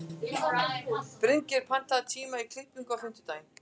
Bryngeir, pantaðu tíma í klippingu á fimmtudaginn.